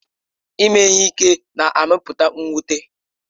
Ime ihe ike na-amụpụta mwute.